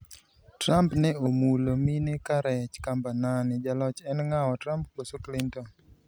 Trump ne omulomulo mine ka rech kamba nane ,jaloch en ng'awa-Trump koso Clinton?